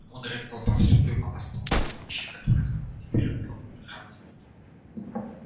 он рыскал повсюду и мало спал в логовище которое стало теперь унылым и безрадостным